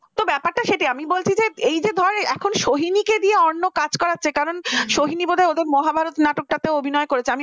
তো ব্যাপারটা সেটাই আমি বলছি এই যে ধর এখন সোহিনীকে দিয়ে অন্য কাজ করাচ্ছে কারণ সোহিনী বোধহয় ওদের মহাভারত নাটকটাতে অভিনয় করেছে